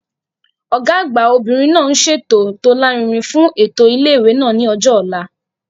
Ọ̀gá àgbà obìnrin náà ń ṣètò tó lárinrin fún ètò ilé ìwé ní ọjọ́ ọ̀la